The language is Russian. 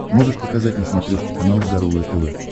можешь показать на смотрешке канал здоровое тв